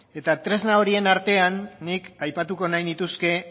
tresna horien artean nik aipatuko nahi nituzke